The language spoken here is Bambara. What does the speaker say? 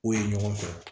K'o ye ɲɔgɔn fɛ